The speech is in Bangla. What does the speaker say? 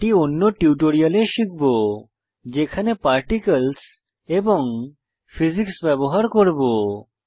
এটি আরো উন্নত টিউটোরিয়ালে দেখব যখন আমরা আমাদের অ্যানিমেশনে পার্টিকলস এবং ফিজিক্স ব্যবহার করব